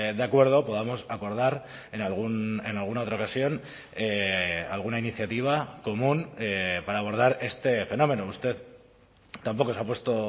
de acuerdo podamos acordar en alguna otra ocasión alguna iniciativa común para abordar este fenómeno usted tampoco se ha puesto